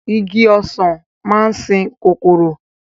Igi Ọ̀sán máa ń sìn kòkòrò